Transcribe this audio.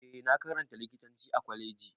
Eh na karanta likitanci a Kwaleji.